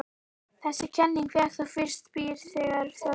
Þessi kenning fékk þó fyrst byr þegar Þjóðverjinn